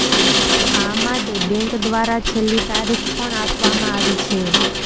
આ માટે બેંક દ્વારા છેલ્લી તારીખ પણ આપવામાં આવી છે